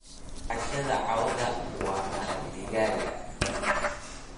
Cashadha cawaa waa maraqa digaaga.